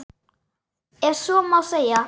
Ef svo má segja.